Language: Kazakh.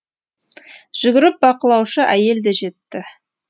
жүгіріп бақылаушы әйел де жетті